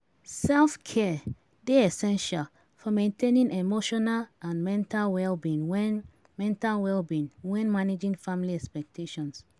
Self-care dey essential for maintaining emotional and mental well-being when mental well-being when managing family expectations.